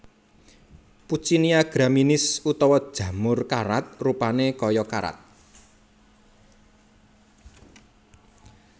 Puccinia graminis utawa jamur karat rupané kaya karat